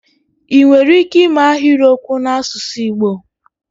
ị nwere ike ịme ahịrịokwu n'asụsụ Igbo?